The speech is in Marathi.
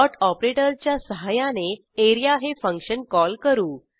ऑपरेटरच्या सहाय्याने areaहे फंक्शन कॉल करू